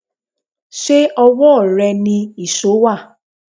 Ṣé owó rẹ ni íṣo wá?